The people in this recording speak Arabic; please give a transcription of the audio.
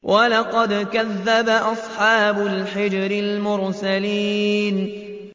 وَلَقَدْ كَذَّبَ أَصْحَابُ الْحِجْرِ الْمُرْسَلِينَ